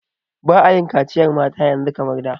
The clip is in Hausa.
Ba'a yin kaciyar mata yanzu kamar da.